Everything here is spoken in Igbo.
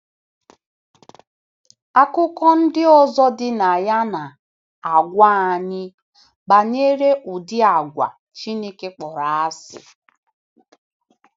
Akụkọ ndị ọzọ dị na ya na - agwa anyị banyere udi àgwà Chineke kpọrọ asị.